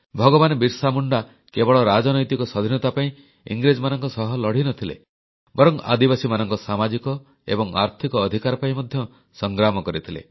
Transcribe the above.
ଭଗବାନ ବିର୍ସା ମୁଣ୍ଡା କେବଳ ରାଜନୈତିକ ସ୍ୱାଧୀନତା ପାଇଁ ଇଂରେଜମାନଙ୍କ ସହ ଲଢ଼ିନଥିଲେ ବରଂ ଆଦିବାସୀମାନଙ୍କ ସାମାଜିକ ଏବଂ ଆର୍ଥିକ ଅଧିକାର ପାଇଁ ମଧ୍ୟ ସଂଗ୍ରାମ କରିଥିଲେ